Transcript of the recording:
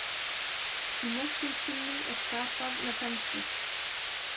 Í Morkinskinnu er skapað með þenslu.